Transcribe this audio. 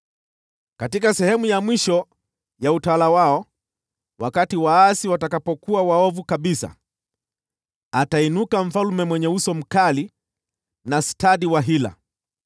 “Katika sehemu ya mwisho ya utawala wao, wakati waasi watakapokuwa waovu kabisa, atainuka mfalme mwenye uso mkali, aliye stadi wa hila.